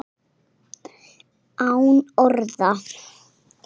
Án orða.